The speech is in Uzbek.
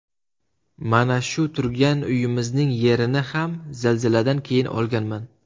Mana shu turgan uyimizning yerini ham zilziladan keyin olganman.